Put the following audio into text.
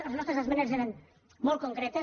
les nostres esmenes eren molt concretes